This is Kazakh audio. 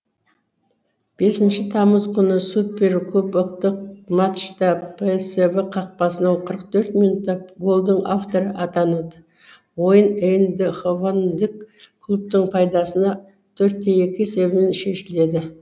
бесінші тамыз күні суперкубоктық матчта псв қақпасының қырық төрт минутта голдың авторы атанады ойын эйндховендік клубтың пайдасына төрт те екі есебімен шешіледі